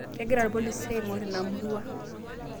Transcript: Kegira ilpolisi aing'or ina murua